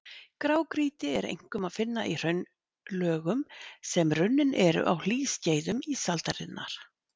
Grágrýti er einkum að finna í hraunlögum, sem runnin eru á hlýskeiðum ísaldarinnar.